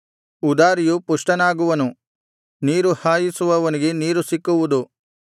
ಉದಾರಿಯು ಪುಷ್ಟನಾಗುವನು ನೀರು ಹಾಯಿಸುವವನಿಗೆ ನೀರು ಸಿಕ್ಕುವುದು